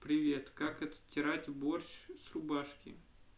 привет как отстирать борщ с рубашки